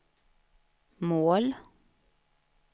mål